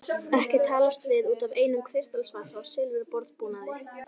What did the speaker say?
Ekki talast við út af einum kristalsvasa og silfurborðbúnaði.